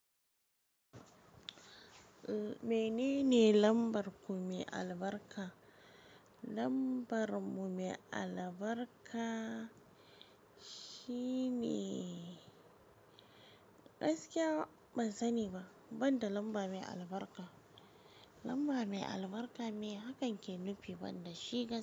Menene lambar ku mai albarka? Lambar mu mai albarka, shine gaskiya ban sani ba, banda lamba mai albarka. Lamba mai albarka me hakan ke nufi banda shiga.